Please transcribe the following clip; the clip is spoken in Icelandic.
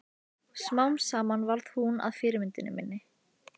Smám saman varð hún að fyrirmyndinni minni.